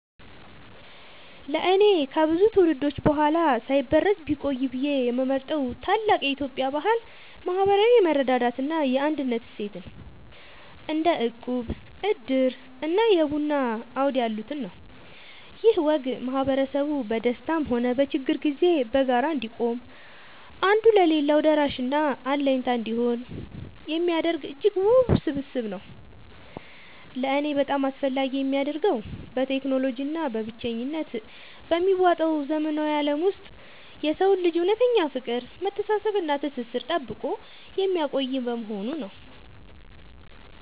ለእኔ ከብዙ ትውልዶች በኋላ ሳይበረዝ ቢቆይ ብዬ የምመርጠው ታላቅ የኢትዮጵያ ባህል **ማህበራዊ የመረዳዳት እና የአንድነት እሴትን** (እንደ እቁብ፣ ዕድር እና የቡና አውድ ያሉትን) ነው። ይህ ወግ ማህበረሰቡ በደስታም ሆነ በችግር ጊዜ በጋራ እንዲቆም፣ አንዱ ለሌላው ደራሽና አለኝታ እንዲሆን የሚያደርግ እጅግ ውብ ስብስብ ነው። ለእኔ በጣም አስፈላጊ የሚያደርገው፣ በቴክኖሎጂ እና በብቸኝነት በሚዋጠው ዘመናዊ ዓለም ውስጥ የሰውን ልጅ እውነተኛ ፍቅር፣ መተሳሰብ እና ትስስር ጠብቆ የሚያቆይ በመሆኑ ነው።